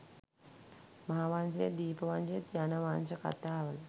මහා වංශයත් දීප වංශයත් යන වංශ කතාවල